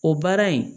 O baara in